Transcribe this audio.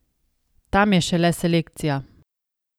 Tam je šele selekcija!